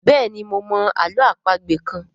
béèni mo mọ àlọ́ àpagbè kán.